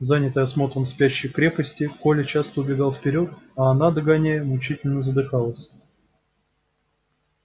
занятый осмотром спящей крепости коля часто убегал вперёд а она догоняя мучительно задыхалась